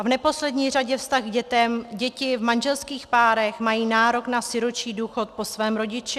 A v neposlední řadě vztah k dětem - děti v manželských párech mají nárok na sirotčí důchod po svém rodiči.